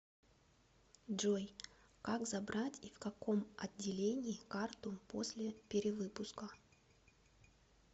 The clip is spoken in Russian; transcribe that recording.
джой как забрать и в каком отделении карту после перевыпуска